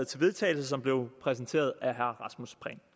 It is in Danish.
til vedtagelse som blev præsenteret af herre rasmus prehn